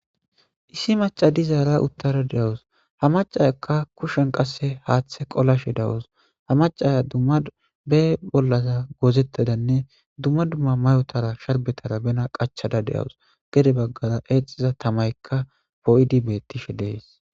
Issi maca dizara uuttada de'awus ha macayakka kushshen qase haaththe qoolashe dawus ha macaya dumma be bollaza goozettadanne dumma dumma mayotaranne sharibettara bena qaachchada de'awus gedde baggara eexiza taamyikka poo'idii bettishe de'es